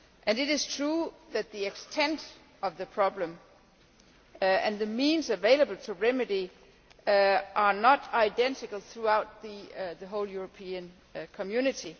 It is true that the extent of the problem and the means available to remedy it are not identical throughout the whole European Community.